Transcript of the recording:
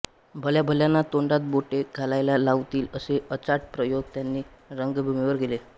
भल्याभल्यांना तोंडात बोटे घालायला लावतील असे अचाट प्रयोग त्यांनी रंगभूमीवर केले